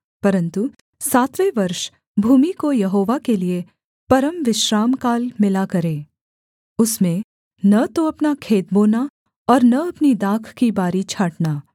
परन्तु सातवें वर्ष भूमि को यहोवा के लिये परमविश्रामकाल मिला करे उसमें न तो अपना खेत बोना और न अपनी दाख की बारी छाँटना